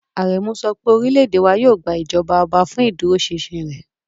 Aremu sọ pé orílẹ̀-èdè wa yóò gba ìjọba ọba fún ìdúróṣinṣin rẹ̀.